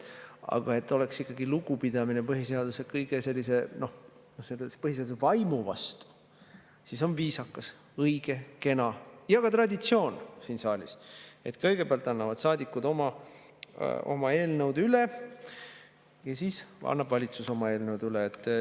Aga et oleks ikkagi lugupidamine põhiseaduse vaimu vastu, siis on viisakas, õige, kena ja ka traditsioon siin saalis, et kõigepealt annavad saadikud oma eelnõud üle ja siis annab valitsus oma eelnõud üle.